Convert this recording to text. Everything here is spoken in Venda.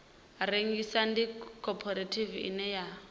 rengisa ndi khophorethivi ine ya